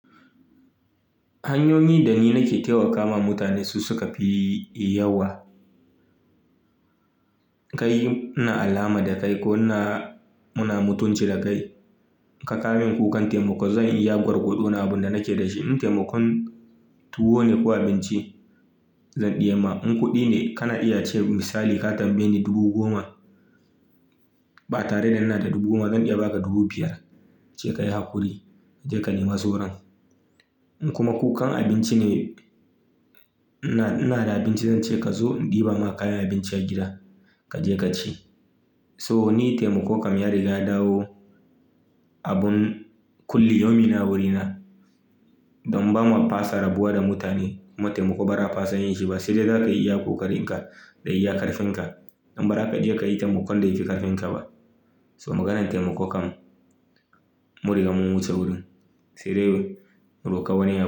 Hanyoyi da ni nake taimakawa mutane su suka fi yawa. Kai ina alama da ko muna mutunta juna In ka kawo min buƙatar taimako zan yi iya gwargwadon abin da nake da shi idan taimakon tuwo ne ko abinci zan iya yi maka. Idan kuɗi ne kana iya cewa misali ka tambaye ni dubu goma ba tare da ina da dubu goma zan iya ba ka dubu biyar in ce ka yi hakuri kaje ka nema sauran. In kuma buƙatar abinci ne idan ina da abinci zan ce ka zo in ɗiban maka kayan abinci a gida kaje ka ci. So ni taimako kam ya riga ya dawo abun kullum ne a wurina don ba mu fasa rabuwa da mutane. Mu taimako ba za a fasa yin shi ba sai dai ka yi iya ƙoƙarin ka da iya ƙarfin ka. Domin ba zakayi taimakon da yafi ƙarfin ka ba. So maganar taimako kam mun riga mun wuce wurin sai dai mu roƙi wani abu.